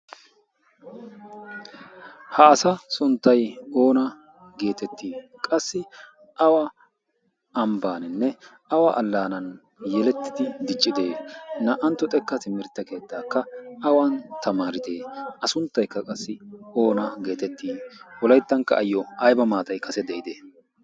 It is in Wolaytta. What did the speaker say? ha asa sunttay oona geetettii qassi awa ambbaaninne awa allaanan yelettidi dichchide naa''anttu xekka timirtte keettaakka awan tamaaridee a sunttaykka qassi oona geetettii awu layttankka ayyo ayba maatay kase de'idee